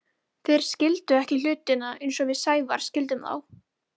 Þeir skildu hlutina ekki eins og við Sævar skildum þá.